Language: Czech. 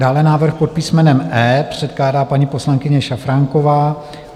Dále návrh pod písmenem E, předkládá paní poslankyně Šafránková.